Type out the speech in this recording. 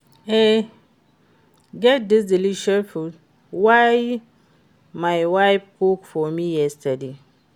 E get dis delicious food wey my wife cook for me yesterday